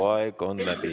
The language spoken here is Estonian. Hea Heljo, su aeg on läbi.